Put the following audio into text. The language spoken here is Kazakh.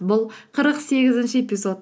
бұл қырық сегізінші эпизод